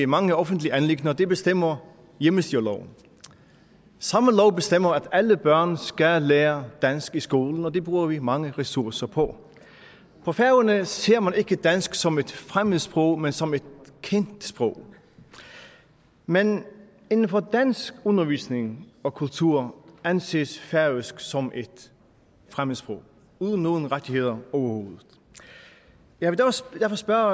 mange offentlige anliggender det bestemmer hjemmestyreloven samme lov bestemmer at alle børn skal lære dansk i skolen og det bruger vi mange ressourcer på på færøerne ser man ikke dansk som et fremmedsprog men som et kendt sprog men inden for dansk undervisning og kultur anses færøsk som et fremmedsprog uden nogen rettigheder overhovedet jeg vil derfor spørge